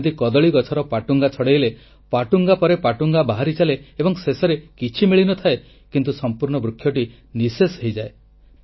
ଯେମିତି କଦଳୀ ଗଛର ପଟୁଙ୍ଗା ଛଡ଼ାଇଲେ ପଟୁଙ୍ଗା ପରେ ପଟୁଙ୍ଗା ବାହାରି ଚାଲେ ଏବଂ ଶେଷରେ କିଛି ମିଳିନଥାଏ କିନ୍ତୁ ସଂପୂର୍ଣ୍ଣ ବୃକ୍ଷଟି ନିଃଶେଷ ହୋଇଯାଏ